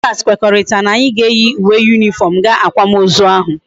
Ndi klas kwekoritara na anyi ga eyi uwe uniform ga akwam ozu ahu